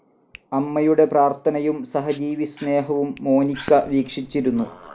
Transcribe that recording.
അമ്മയുടെ പ്രാർത്ഥനയും സഹജീവിസ്‌നേഹവും മോനിക്ക വീക്ഷിച്ചിരുന്നു.